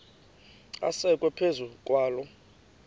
asekwe phezu kwaloo